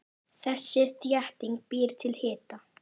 Þessi þétting býr til hita.